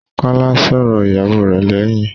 Kọ́lá sọ̀rọ̀ ìyàwó rẹ̀ lẹ́yìn.